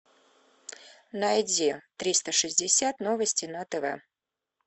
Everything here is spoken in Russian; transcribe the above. найди триста шестьдесят новости на тв